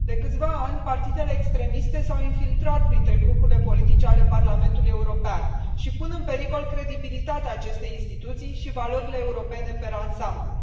De câțiva ani, partidele extremiste s au infiltrat printre grupurile politice ale Parlamentului European și pun în pericol credibilitatea acestei instituții și valorile europene per ansamblu.